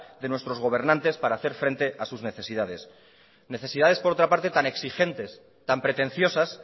de nuestros gobernantes para hacer frente a sus necesidades necesidades por otra parte tan exigentes tan pretenciosas